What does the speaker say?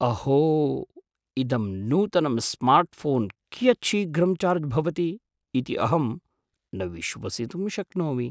अहो! इदं नूतनं स्मार्ट्फ़ोन् कियत् शीघ्रं चार्ज् भवति इति अहं न विश्वसितुं शक्नोमि!